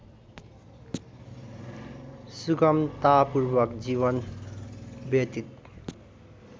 सुगमतापूर्वक जीवन व्यतीत